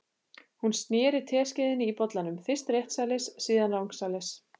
Hún sneri teskeiðinni í bollanum, fyrst réttsælis, síðan rangsælis.